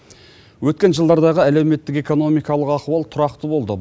өткен жылдардағы әлеуметтік экономикалық ахуал тұрақты болды